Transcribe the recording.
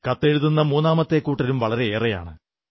കത്തെഴുതുന്ന മൂന്നാമത്തെ കൂട്ടരും വളരെയേറെയാണ്